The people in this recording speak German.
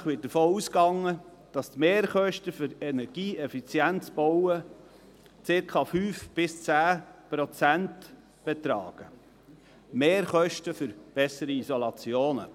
Grundsätzlich wird davon ausgegangen, dass die Mehrkosten für energieeffizientes Bauen circa 5–10 Prozent betragen, Mehrkosten für bessere Isolationen.